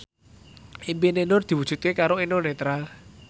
impine Nur diwujudke karo Eno Netral